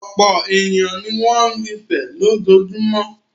Ọ̀pọ̀ ènìyàn ní wọn ń rinsẹ̀ lójoojúmọ́.